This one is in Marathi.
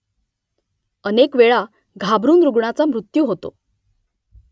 अनेक वेळा घाबरून रुग्णाचा मृत्यू होतो